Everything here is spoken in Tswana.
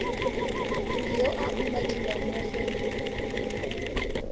yo a umakiwang mo go